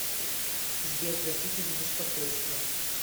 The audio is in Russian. сбер простите за беспокойство